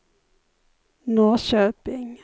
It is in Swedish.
Norrköping